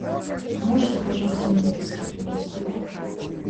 можете пожалуйста мне виски принести